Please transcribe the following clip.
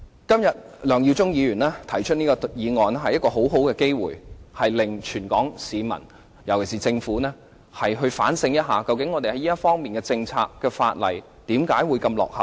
今天梁耀忠議員的議案提供了一個很好的機會，令全港市民、尤其是政府反省一下，究竟我們在這方面的政策和法例何以如此落後。